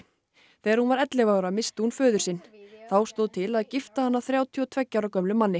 þegar hún var ellefu ára missti hún föður sinn þá stóð til að gifta hana þrjátíu og tveggja ára gömlum manni